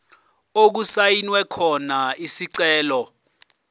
okusayinwe khona isicelo